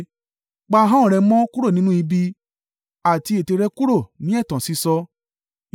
Pa ahọ́n rẹ̀ mọ́ kúrò nínú ibi àti ètè rẹ̀ kúrò ní ẹ̀tàn sísọ.